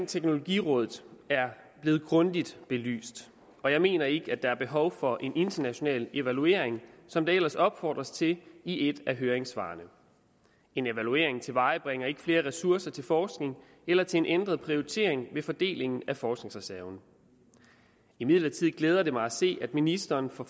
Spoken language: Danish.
teknologirådet er blevet grundigt belyst og jeg mener ikke der er behov for en international evaluering som der ellers opfordres til i et af høringssvarene en evaluering tilvejebringer ikke flere ressourcer til forskning eller til en ændret prioritering ved fordelingen af forskningsreserven imidlertid glæder det mig at se at ministeren for